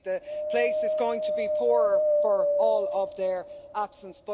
I think the place is going to be poorer for all of their absence.